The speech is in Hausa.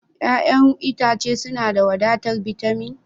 Ya'yan itace suna da wadatar bitamin?